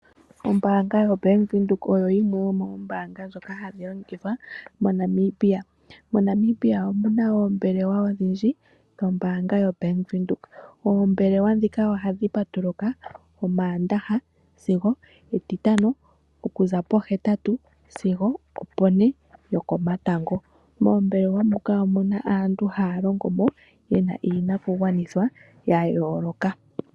Ombaanga yoBank Windhoek oyo yimwe yomoombanga ndhoka hadhi longithwa moNamibia. MoNamibia omu na oombelewa odhindji dhombaanga yoBank Windhoek. Oombelewa ndhika ohadhi patuluka Omaandaha sigo Etitano okuza po8 sigo opo4 yokomatango. Moombelewa muka omu na aantu haya longo mo yena iinakugwanithwa ya yoloka.